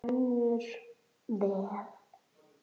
Rennur vel.